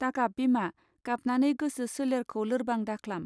दागाब बिमा गाबनानै गोसो शोलेरखौ लोरबां दाख्लाम.